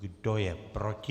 Kdo je proti?